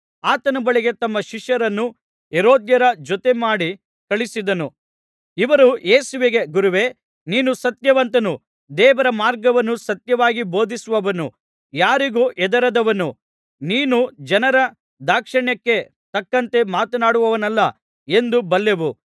ಆತನ ಬಳಿಗೆ ತಮ್ಮ ಶಿಷ್ಯರನ್ನು ಹೆರೋದ್ಯರ ಜೊತೆಮಾಡಿ ಕಳುಹಿಸಿದರು ಇವರು ಯೇಸುವಿಗೆ ಗುರುವೇ ನೀನು ಸತ್ಯವಂತನು ದೇವರ ಮಾರ್ಗವನ್ನು ಸತ್ಯವಾಗಿ ಬೋಧಿಸುವವನು ಯಾರಿಗೂ ಹೆದರದವನು ನೀನು ಜನರ ದಾಕ್ಷಿಣ್ಯಕ್ಕೆ ತಕ್ಕಂತೆ ಮಾತನಾಡುವವನಲ್ಲ ಎಂದು ಬಲ್ಲೆವು